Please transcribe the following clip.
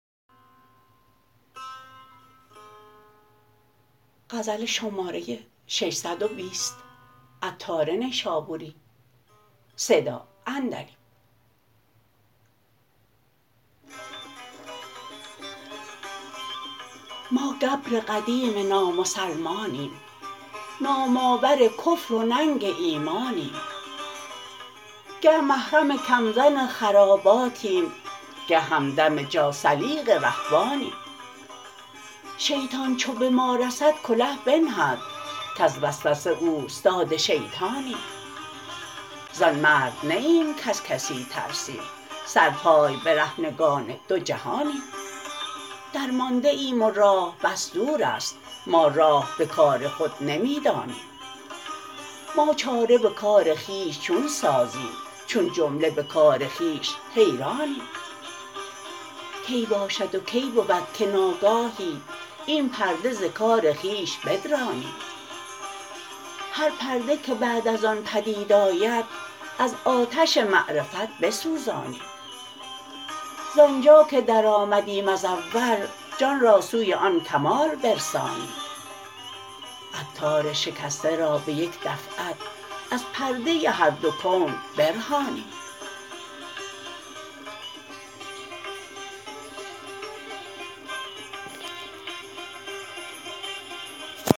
ما گبر قدیم نامسلمانیم نام آور کفر و ننگ ایمانیم گه محرم کم زن خراباتیم گه همدم جاثلیق رهبانیم شیطان چو به ما رسد کله بنهد کز وسوسه اوستاد شیطانیم زان مرد نه ایم کز کسی ترسیم سر پای برهنگان دو جهانیم درمانده ایم و راه بس دور است ما راه به کار خود نمی دانیم ما چاره به کار خویش چون سازیم چو جمله به کار خویش حیرانیم کی باشد و کی بود که ناگاهی این پرده ز کار خویش بدرانیم هر پرده که بعد از آن پدید آید از آتش معرفت بسوزانیم زآنجا که درآمدیم از اول جان را سوی آن کمال برسانیم عطار شکسته را به یک دفعت از پرده هر دو کون برهانیم